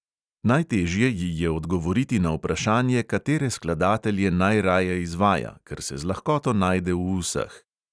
Najtežje ji je odgovoriti na vprašanje, katere skladatelje najraje izvaja, ker se z lahkoto najde v vseh.